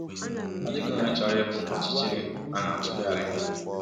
Ọ dịghị onye chọrọ ịpụ n’ọchịchịrị a na-atụgharị.